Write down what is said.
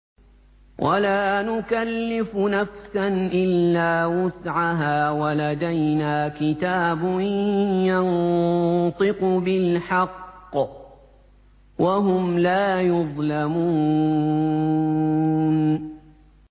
وَلَا نُكَلِّفُ نَفْسًا إِلَّا وُسْعَهَا ۖ وَلَدَيْنَا كِتَابٌ يَنطِقُ بِالْحَقِّ ۚ وَهُمْ لَا يُظْلَمُونَ